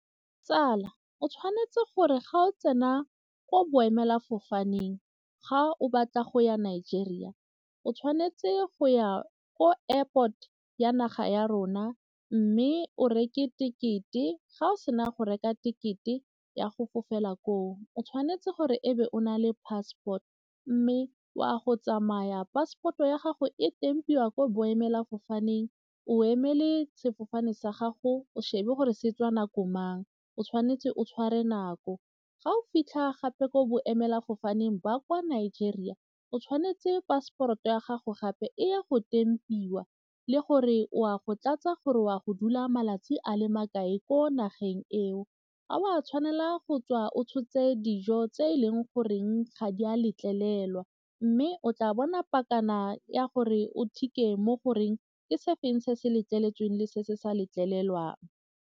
Tsala, o tshwanetse gore ga o tsena ko boemelafofane teng ga o batla go ya Nigeria, o tshwanetse go ya ko airport ya naga ya rona mme o reke ticket-e, ga o sena go reka ticket-e ya go fofela koo. I tshwanetse gore e be o na le passport mme o a go tsamaya passport-o ya gago e tempiwa kwa boemelafofaneng o emele sefofane sa gago o shebe gore se tswa nako mang o tshwanetse o tshware nako ga o fitlha gape ko boemelafofaneng ba kwa nigeria o tshwanetse passport-o ya gago gape e ya go tempiwa le gore o a go tlatsa gore o a go dula malatsi a le makae ko nageng eo. Ga o a tshwanela go tswa o tshotse dijo tse e leng goreng ga di a letlelelwa mme o tla bona ya gore o mo goreng ke se feng se se letleletsweng le se se sa letlelelwang.